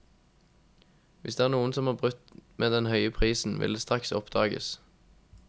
Hvis det er noen som har brutt med den høye prisen, vil det straks oppdages.